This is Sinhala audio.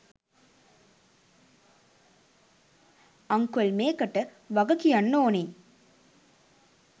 අංකල් මේකට වගකියන්න ඕනේ